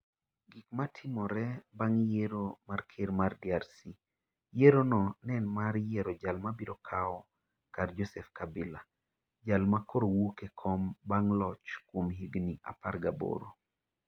Gik ma Timore Bang'e Yiero mar Ker mar DRC Yierono ne en mar yiero jal mabiro kawo kar Joseph Kabila, jal ma koro wuok e kom bang ' locho kuom higini 18.